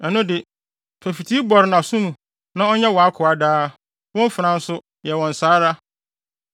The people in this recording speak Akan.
ɛno de, fa fitii bɔre nʼaso mu na ɔnyɛ wʼakoa daa. Wo mfenaa nso, yɛ wɔn saa ara.